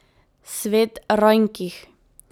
Svet rajnkih.